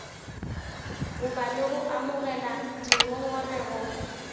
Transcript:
goba le go amogela dingongorego